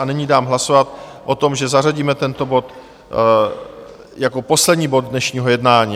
A nyní nám hlasovat o tom, že zařadíme tento bod jako poslední bod dnešního jednání.